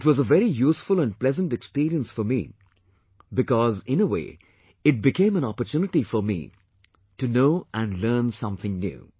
It was a very useful and pleasant experience for me, because in a way it became an opportunity for me to know and learn something new